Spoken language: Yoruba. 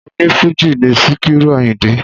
O ní Fújì ni Sikiru Àyìndé